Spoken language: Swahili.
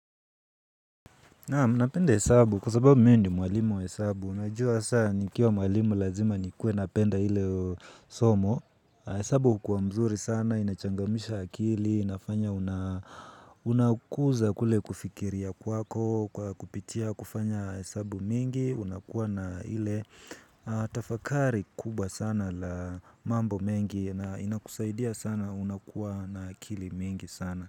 Napenda hesabu kwasababu mimi ni mwalimu wa hesabu, unajua saa nikiwa mwalimu lazima nikue napenda ile somo, hesabu hukuwa mzuri sana, inachangamsha akili, inafanya unakuza kule kufikiria kwako, kupitia, kufanya hesabu mingi, unakuwa na ile tafakari kubwa sana la mambo mengi na inakusaidia sana unakuwa na akili mingi sana.